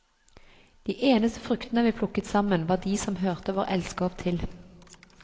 De eneste fruktene vi plukket sammen, var de som hørte vår elskov til.